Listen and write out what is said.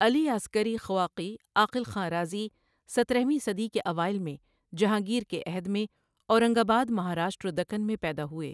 علی عسکری خواقی عاقل خاں رازی ؔسترہویں صدی کے اوائل میں جہانگیر کے عہد میں اورنگ آباد مہاراشٹر دکن میں پیدا ہوئے ۔